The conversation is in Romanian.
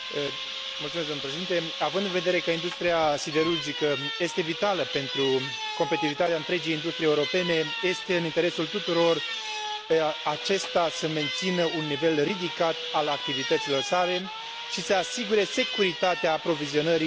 Având în vedere că industria siderurgică este vitală pentru competitivitatea întregii industrii europene, este în interesul tuturor ca aceasta să mențină un nivel ridicat al activităților sale și să asigure securitatea aprovizionării prin producția internă.